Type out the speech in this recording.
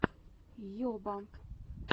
йоба